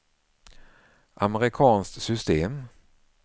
amerikanskt system